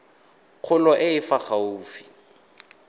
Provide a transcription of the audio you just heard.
kgolo e e fa gaufi